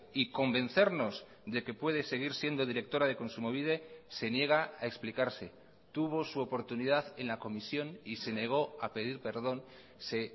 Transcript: y convencernos de que puede seguir siendo directora de kontsumobide se niega a explicarse tuvo su oportunidad en la comisión y se negó a pedir perdón se